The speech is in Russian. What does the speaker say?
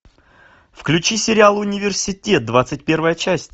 включи сериал университет двадцать первая часть